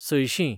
सयशीं